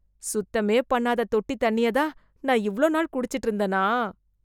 சுத்தமே பண்ணாத தொட்டி தண்ணிய தான் , நான் இவ்வளவு நாள் குடிச்சிட்டு இருந்தேனா?